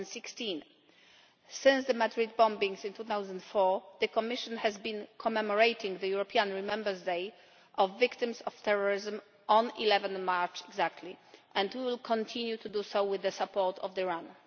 2016. Since the Madrid bombings in 2004, the Commission has been commemorating the European Remembrance Day of victims of terrorism on 11 March exactly, and will continue to do so with the support of the RAN.